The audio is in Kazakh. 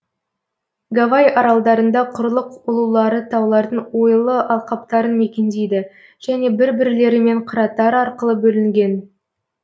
гавай аралдарында құрлық ұлулары таулардың ойлы алқаптарын мекендейді және бір бірлерімен қыраттар арқылы бөлінген